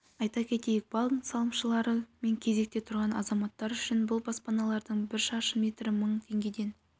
айта кетелік банк салымшылары мен кезекте тұрған азаматтар үшін бұл баспаналардың бір шаршы метрі мың теңгеден